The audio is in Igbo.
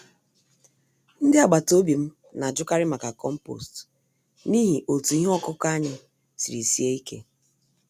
Ndị agbata obi m n'ajụkarị maka compost n'ihi otú ihe ọkụkụ anyị siri sie ike.